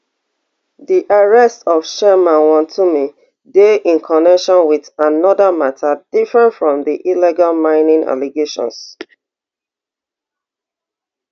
di arrest of chairman wontumi dey in connection wit anoda mata different from di illegal mining allegations